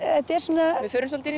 er svona við förum svolítið